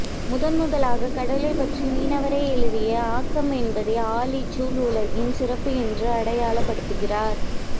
முதன் முதலாக கடலைப்பற்றி மீனவரே எழுதிய ஆக்கம் என்பதே ஆழிசூழ் உலகின் சிறப்பு என்று அடையாளப் படுத்துகிறார்